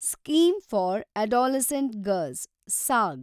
scheme for adolescent girls (saag)